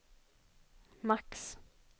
max